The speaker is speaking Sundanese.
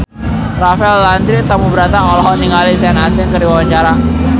Rafael Landry Tanubrata olohok ningali Sean Astin keur diwawancara